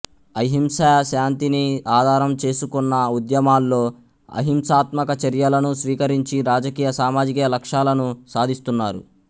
అహింస శాంతిని ఆధారం చేసుకున్న ఉద్యమాల్లో అహింసాత్మక చర్యలను స్వీకరించి రాజకీయ సామాజిక లక్ష్యాలను సాధిస్తూన్నారు